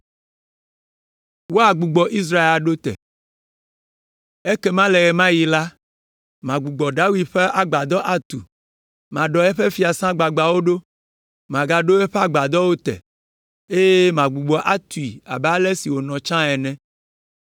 “Ekema le ɣe ma ɣi me la, “Magbugbɔ David ƒe agbadɔ atu, maɖɔ eƒe fiasã gbagbãwo ɖo, magaɖo eƒe aƒedowo te, eye magbugbɔ atui abe ale si wònɔ tsã ene,